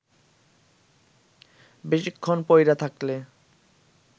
বেশিক্ষণ পইরা থাকলে